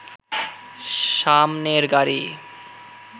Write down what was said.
সামনের গাড়ি